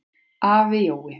Afi Jói.